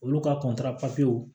Olu ka kɔntanw